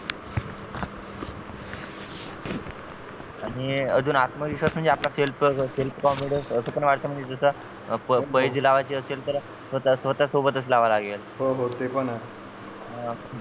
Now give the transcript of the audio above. आणि अजून आत्मविश्वास म्हणजे आपला selfself confidence असपण व्हायचं म्हणजे जस प पैज लावायची असेल तर स्वतः सोबतच लावावी लागेल हो हो ते पण आहे